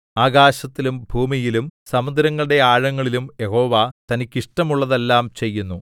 ആകാശത്തിലും ഭൂമിയിലും സമുദ്രങ്ങളുടെ ആഴങ്ങളിലും യഹോവ തനിക്കിഷ്ടമുള്ളതെല്ലാം ചെയ്യുന്നു